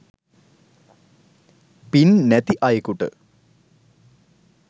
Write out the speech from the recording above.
පින් නැති අයෙකුට